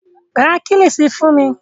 Ra Kílíṣí fún mi